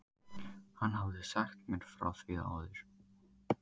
Hann hafði sagt mér frá því áður.